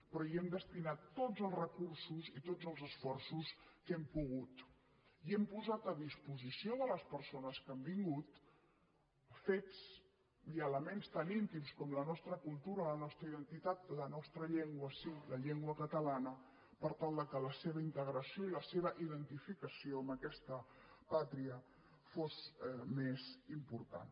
però hi hem destinat tots els recursos i tots els esforços que hem pogut i hem posat a disposició de les persones que han vingut fets i elements tan íntims com la nostra cultura la nostra identitat la nostra llengua sí la llengua catalana per tal que la seva integració i la seva identificació amb aquesta pàtria fos més important